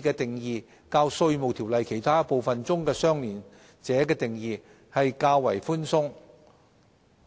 "的擬議定義較《稅務條例》其他部分中"相聯者"的定義為寬鬆。